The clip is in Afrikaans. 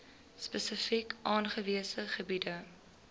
spesifiek aangewese gebiede